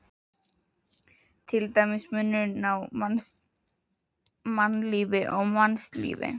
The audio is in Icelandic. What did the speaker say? Til dæmis munurinn á mannlífi og mannslífi.